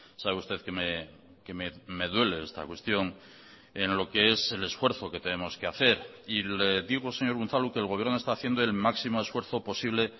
sabe usted que me duele esta cuestión en lo que es el esfuerzo que tenemos que hacer y le digo señor unzalu que el gobierno está haciendo el máximo esfuerzo posible